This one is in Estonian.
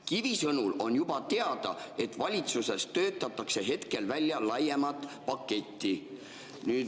Kivi sõnul on juba teada, et valitsuses töötatakse hetkel välja laiemat paketti.